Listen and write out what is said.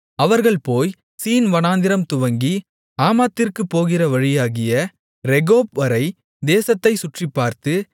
அவர்கள் போய் சீன் வனாந்திரம்துவங்கி ஆமாத்திற்குப் போகிற வழியாகிய ரேகொப்வரை தேசத்தைச் சுற்றிப்பார்த்து